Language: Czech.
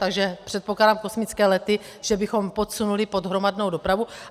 Takže předpokládám, kosmické lety že bychom podsunuli pod hromadnou dopravu.